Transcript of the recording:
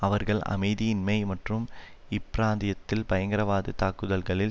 அவர்கள் அமைதி இன்மை மற்றும் இப்பிராந்தியத்தில் பயங்கரவாதத் தாக்குதல்களில்